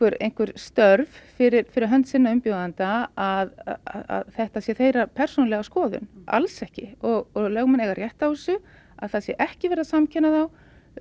störf fyrir fyrir hönd sinna umbjóðenda að þetta sé þeirra persónulega skoðun alls ekki og lögmenn eiga rétt á þessu að það sé ekki verið að samkenna þá